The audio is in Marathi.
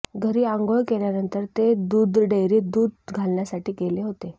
घरी अंघोळ केल्यानंतर ते दुधडेअरीत दुध घालण्यासाठी गेले होते